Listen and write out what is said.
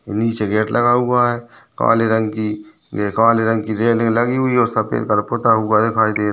निचे गेट लगा हुआ हे काले रंग की ये काले रंग की रेलिंग लगी हुई हे और सफेद कलर पता हुआ दिखाई दे रहा है।